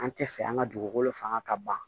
An tɛ fɛ an ka dugukolo fanga ka ban